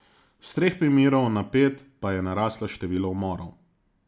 S treh primerov na pet pa je naraslo število umorov.